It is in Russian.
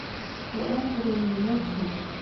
излом времени найти